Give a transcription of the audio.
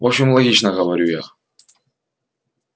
в общем логично говорю я